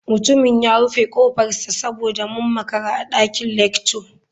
Mutumin ya rufe kofarsa saboda mun makara a dakin lecture.